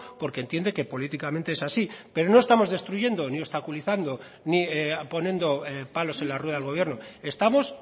porque entiende que políticamente es así pero no estamos destruyendo ni obstaculizando ni poniendo palos en la rueda del gobierno estamos